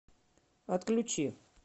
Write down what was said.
отключи